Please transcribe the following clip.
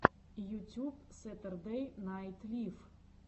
ютюб сэтердэй найт лив